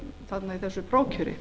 þarna í þessu prófkjöri